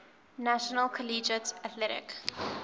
national collegiate athletic